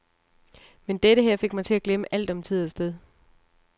Men dette her fik mig til at glemme alt om tid og sted.